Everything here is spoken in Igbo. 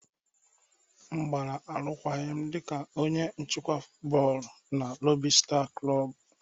M gbara arụkwaghịm dị ka onye nchịkwa bọọlụ na lobi star blub.